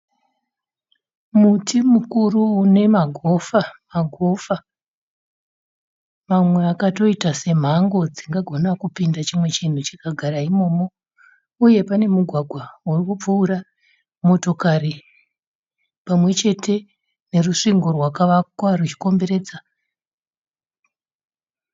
Muti mukuru une magofa magofa mamwe akatoita semhango dzingagona kupinda chimwe chinhu chikagara imomo, uye pane mugwagwa uri kupfuura motokari pamwe chete nerusvingo rwakavakwa ruchikomberedza.